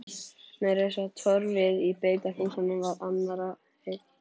Meira að segja torfið í beitarhúsunum var annarra eign.